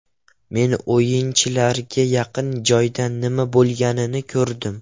Men o‘yinchilarga yaqin joydan nima bo‘lganini ko‘rdim.